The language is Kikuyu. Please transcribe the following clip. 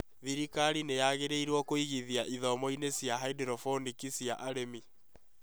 Thirikari nĩ yagĩrĩirũo kuĩgĩthia ithomo-inĩ cia Haindorobonĩki cia arĩmi